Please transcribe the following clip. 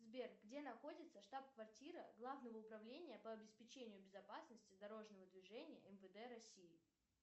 сбер где находится штаб квартира главного управления по обеспечению безопасности дорожного движения мвд россии